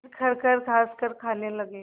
फिर खरखर खाँसकर खाने लगे